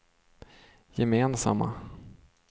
gemensamma